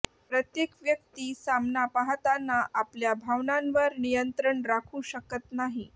प्रत्येक व्यक्ती सामना पाहताना आपल्या भावनांवर नियंत्रण राखू शकत नाही